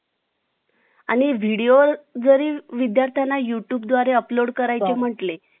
Myself Prerna Supe. FromBpharm third year from Rajendra Gore College of pharmacy Malkapur. माझ्या Topic च नाव आहे बालपण. बालपण हा